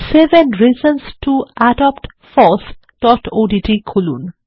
seven reasons to adopt fossওডিটি খুলুন